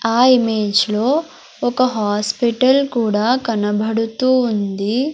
ఆ ఇమేజ్ లో ఒక హాస్పిటల్ కూడా కనబడుతూ ఉంది.